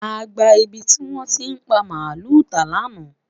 àgbà ibí ti wọn ti pa maalu ta laana